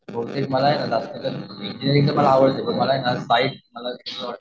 बहुतेक मला मला